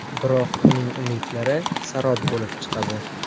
Biroq uning umidlari sarob bo‘lib chiqadi.